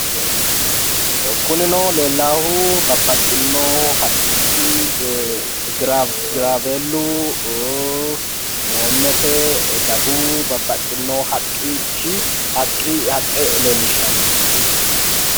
kunino leellaahu babbaxino haqqichi giraaweellu hoommete daguwu babbaxino haqqichi haqqe leellishshanno.